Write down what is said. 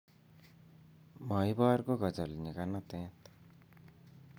maibor kokajol nyikanatet